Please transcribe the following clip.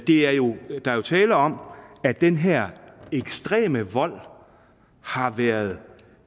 er jo tale om at den her ekstreme vold har været